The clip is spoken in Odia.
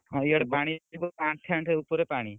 ହଁ, ଇଆଡେ ପାଣି ଉପରେ ପାଣି।